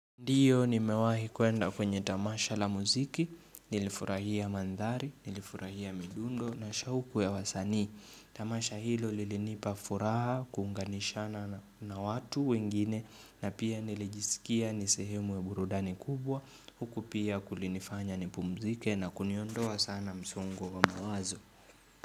Ndiyo nimewahi kuenda kwenye tamasha la muziki, nilifurahia mandhari, nilifurahia midundo na shauku ya wasanii. Tamasha hilo lilinipa furaha, kuunganishana na watu wengine na pia nilijisikia ni sehemu weburudani kubwa, huku pia kulinifanya nipumzike na kuniondoa sana msongo wa mawazo.